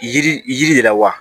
Yiri yiri la wa